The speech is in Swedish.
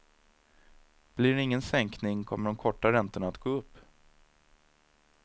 Blir det ingen sänkning kommer de korta räntorna att gå upp.